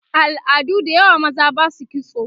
a al'adu da yawa maza Basu kitso